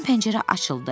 Birdən pəncərə açıldı.